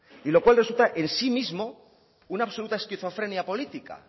y lo cual resulta en sí mismo una absoluta esquizofrenia política